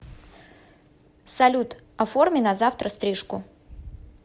салют оформи на завтра стрижку